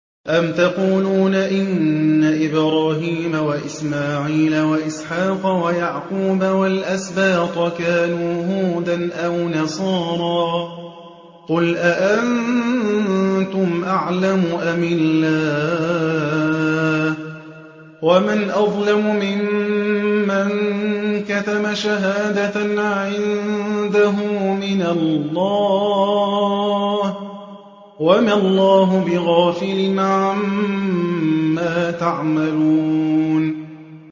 أَمْ تَقُولُونَ إِنَّ إِبْرَاهِيمَ وَإِسْمَاعِيلَ وَإِسْحَاقَ وَيَعْقُوبَ وَالْأَسْبَاطَ كَانُوا هُودًا أَوْ نَصَارَىٰ ۗ قُلْ أَأَنتُمْ أَعْلَمُ أَمِ اللَّهُ ۗ وَمَنْ أَظْلَمُ مِمَّن كَتَمَ شَهَادَةً عِندَهُ مِنَ اللَّهِ ۗ وَمَا اللَّهُ بِغَافِلٍ عَمَّا تَعْمَلُونَ